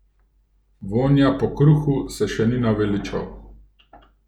Vonja po kruhu se še ni naveličal.